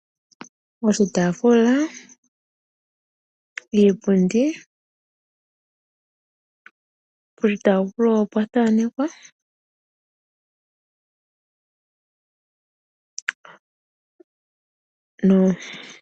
Oshitafula, iipundi, poshitafula opwa thanekwa.